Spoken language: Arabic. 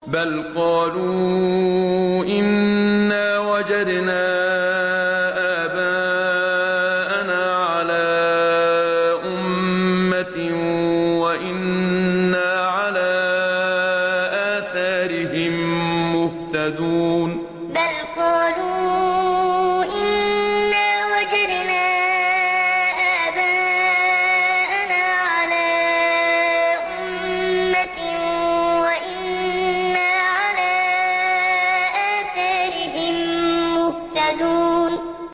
بَلْ قَالُوا إِنَّا وَجَدْنَا آبَاءَنَا عَلَىٰ أُمَّةٍ وَإِنَّا عَلَىٰ آثَارِهِم مُّهْتَدُونَ بَلْ قَالُوا إِنَّا وَجَدْنَا آبَاءَنَا عَلَىٰ أُمَّةٍ وَإِنَّا عَلَىٰ آثَارِهِم مُّهْتَدُونَ